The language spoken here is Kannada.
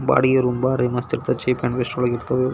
ಬಾಡಿಗೆ ರೂಮ್ ಬಾಹರೀ ಮಸ್ತ್ ಇರುತ್ತೆ ಚೀಪ್ ಅಂಡ್ ಬೆಸ್ಟ್ ವಳಗ್ ಇರ್ತವು.